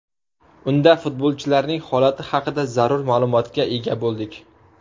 Unda futbolchilarning holati haqida zarur ma’lumotga ega bo‘ldik.